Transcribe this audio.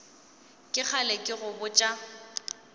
ke kgale ke go botša